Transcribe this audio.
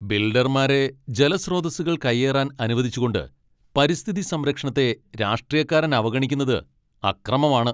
ബിൽഡർമാരെ ജലസ്രോതസ്സുകൾ കയ്യേറാൻ അനുവദിച്ചുകൊണ്ട് പരിസ്ഥിതി സംരക്ഷണത്തെ രാഷ്ട്രീയക്കാരൻ അവഗണിക്കുന്നത് അക്രമമാണ്.